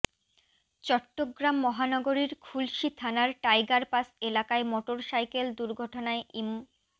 চট্টগ্রাম মহানগরীর খুলশী থানার টাইগারপাস এলাকায় মোটরসাইকেল দুর্ঘটনায় ইম